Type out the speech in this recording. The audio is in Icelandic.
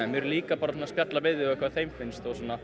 erum líka bara að spjalla við þau um hvað þeim finnst